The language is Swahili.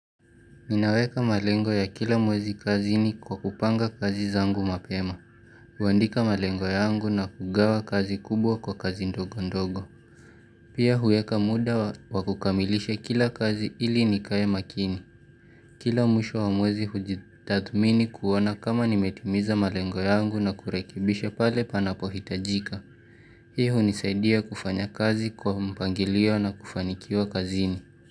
Ninaweka malengo ya kila mwezi kazini kwa kupanga kazi zangu mapema. Huandika malengo yangu na kugawa kazi kubwa kwa kazi ndogo ndogo. Pia huweka muda wa kukamilisha kila kazi ili nikae makini. Kila mwisho wa mwezi hujitathmini kuona kama nimetimiza malengo yangu na kurekebisha pale panapohitajika. Hii hunisaidia kufanya kazi kwa mpangilio na kufanikiwa kazini.